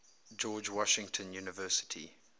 george washington university